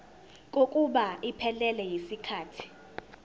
kokuba iphelele yisikhathi